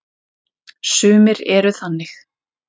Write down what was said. Sumir eru þannig.